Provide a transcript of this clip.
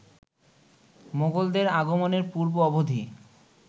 মোগলদের আগমনের পূর্ব-অবধি